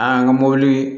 An ka mobili